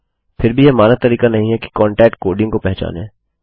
फिर भीयह मानक तरीका नहीं है कि कोन्टक्ट कोडिंग को पहचाने